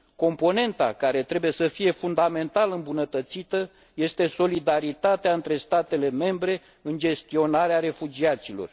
Componenta care trebuie să fie fundamental îmbunătățită este solidaritatea între statele membre în gestionarea refugiaților.